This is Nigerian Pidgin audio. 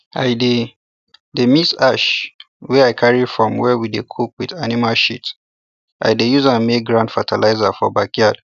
i dey dey mix ash wey i carry from where we dey cook with animal shit i dey use am make ground fertilizer for backyard